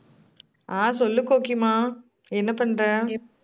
ஆஹ் சொல்லு கோகிமா. என்ன பண்ற?